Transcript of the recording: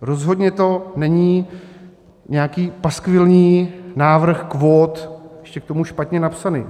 Rozhodně to není nějaký paskvilní návrh kvót, ještě k tomu špatně napsaný.